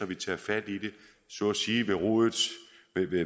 vi tager fat i det så at sige